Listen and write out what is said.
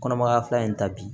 Kɔnɔmaya fila in ta bi